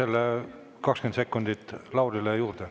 Anname 20 sekundit Laurile juurde.